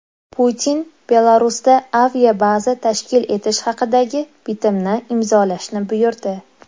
Putin Belarusda aviabaza tashkil etish haqidagi bitimni imzolashni buyurdi.